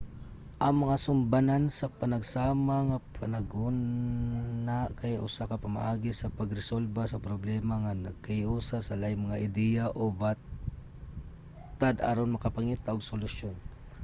ang mga sumbanan sa panagsama nga panghuna kay usa ka pamaagi sa pagresolba sa problema nga naghiusa sa laing mga ideya o batad aron makapangita og solusyon